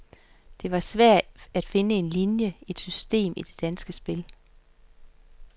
Det var svært at finde en linie, et system i det danske spil.